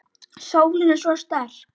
Sólin er svo sterk.